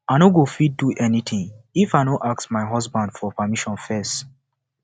i no go fit do anything if i no ask my husband for permission first